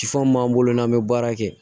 mun b'an bolo n'an bɛ baara kɛ